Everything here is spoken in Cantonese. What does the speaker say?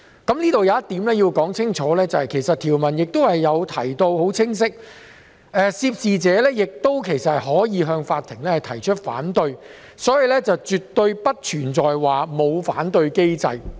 我想清楚指出，條文其實已清晰訂明涉事者可向法庭提出反對，所以絕非沒有反對機制。